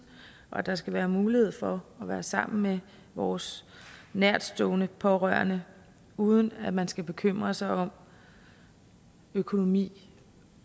og at der skal være mulighed for at være sammen med vores nærtstående pårørende uden at man skal bekymre sig om økonomi